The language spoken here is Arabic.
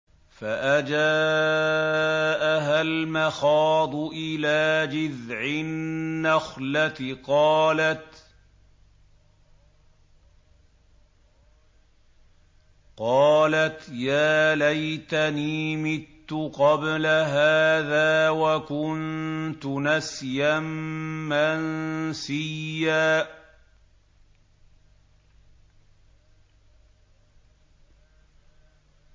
فَأَجَاءَهَا الْمَخَاضُ إِلَىٰ جِذْعِ النَّخْلَةِ قَالَتْ يَا لَيْتَنِي مِتُّ قَبْلَ هَٰذَا وَكُنتُ نَسْيًا مَّنسِيًّا